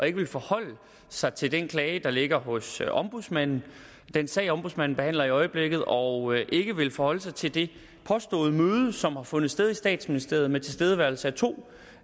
ikke vil forholde sig til den klage der ligger hos ombudsmanden den sag ombudsmanden behandler i øjeblikket og ikke vil forholde sig til det påståede møde som har fundet sted i statsministeriet med tilstedeværelse af to